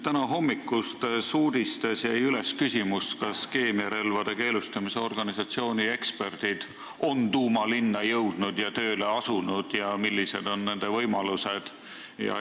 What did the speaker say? Tänahommikustes uudistes jäi üles küsimus, kas keemiarelvade keelustamise organisatsiooni eksperdid on Douma linna jõudnud ja tööle asunud ning millised on nende võimalused.